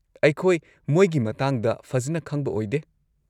ꯑꯩꯈꯣꯏ ꯃꯣꯏꯒꯤ ꯃꯇꯥꯡꯗ ꯐꯖꯟꯅ ꯈꯪꯕ ꯑꯣꯏꯗꯦ꯫